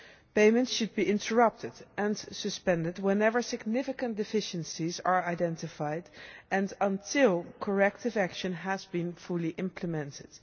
Payments should be interrupted and suspended whenever significant deficiencies are identified and until corrective action has been fully implemented.